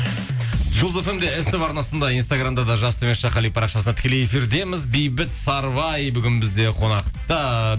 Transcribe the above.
жұлдыз фм де ств арнасында инстаграмда да жас қали парақшасында тікелей эфирдеміз бейбіт сарыбай бүгін бізде қонақта